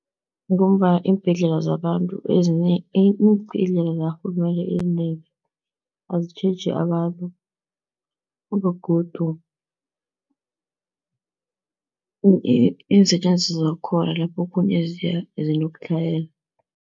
Ngombana iimbhedlela zabantu, iimbhedlela zakarhulumende ezinengi azitjheji abantu begodu iinsetjenziswa zakhona laphokhunye zinokutlhayela.